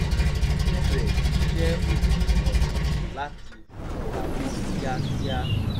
ó bẹ̀rẹ̀ iṣẹ́ òpin ọ̀sẹ̀ láti fi pamọ́ kíákíá